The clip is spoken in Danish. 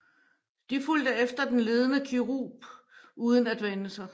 De fulgte efter den ledende kerub uden at vende sig